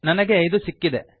ನನಗೆ ಇದು ಸಿಕ್ಕಿದೆ